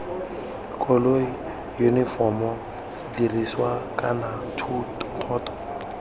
koloi yunifomo sedirisiwa kana thoto